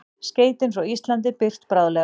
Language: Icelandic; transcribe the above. Skeytin frá Íslandi birt bráðlega